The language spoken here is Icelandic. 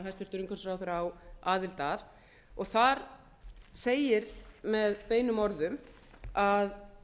hæstvirtur umhverfisráðherra á aðild að og þar segir með beinum orðum að